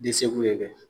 ye